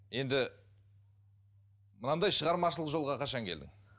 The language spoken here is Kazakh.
енді мынандай шығармашылық жолға қашан келдің